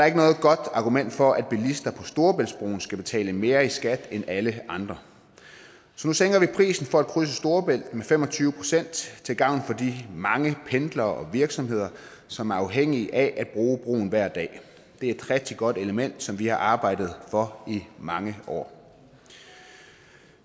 ikke noget godt argument for at bilister på storebæltsbroen skal betale mere i skat end alle andre så nu sænker vi prisen for at krydse storebælt med fem og tyve procent til gavn for de mange pendlere og virksomheder som er afhængige af at bruge broen hver dag det er et rigtig godt element som vi har arbejdet for i mange år